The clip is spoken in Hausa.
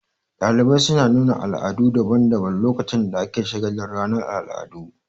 Ɗalibai suna nuna al'adu daban daban lokacin da ake shagalin ranar al'adu